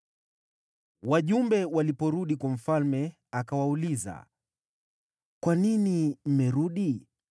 Wajumbe waliporudi kwa mfalme, akawauliza, “Kwa nini mmerudi?”